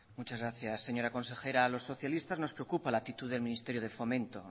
muchas gracias señora consejera a los socialistas nos preocupa la actitud del ministerio de fomento